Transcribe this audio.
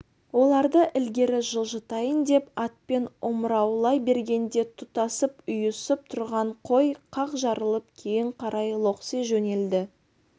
оларды ілгері жылжытайын деп атпен омыраулай бергенде тұтасып ұйысып тұрған қой қақ жарылып кейін қарай лоқси жөнелді